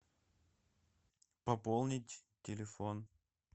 пополнить телефон